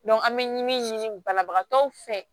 an bɛ min ɲini banabagatɔw fɛ